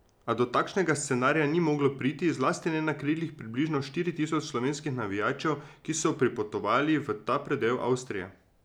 A do takšnega scenarija ni moglo priti, zlasti ne na krilih približno štiri tisoč slovenskih navijačev, ki so pripotovali v ta predel Avstrije.